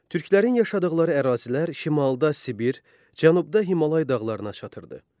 Türklərin yaşadıqları ərazilər şimalda Sibir, cənubda Himalay dağlarına çatırdı.